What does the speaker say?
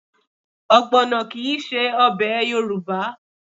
Ọgbọ̀nọ kì í ṣe ọbẹ̀ Yorùbá